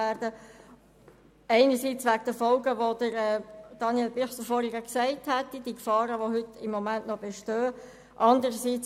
Dies einerseits wegen den Folgen, die Daniel Bichsel vorhin angesprochen hat, also den im Moment noch bestehenden Gefahren.